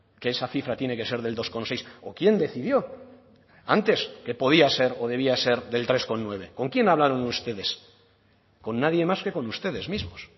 que esa cifra tiene que ser del dos coma seis o quién decidió antes que podía ser o debía ser del tres coma nueve con quién hablaron ustedes con nadie más que con ustedes mismos